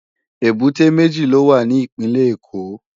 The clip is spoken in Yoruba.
Ébùté méji ló wá ni Ipinlè Ékó